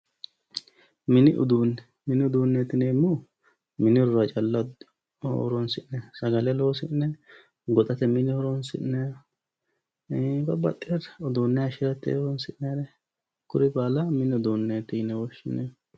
Mini uduune ,mini uduuneti yineemmohu mini horora calla horonsi'nanni sagale loosi'ne ,hoxate mine horonsi'ne ii'i uduune hayishirate horonsi'nannire babbaxewore baalla mini uduuneti yinne woshshineemmo.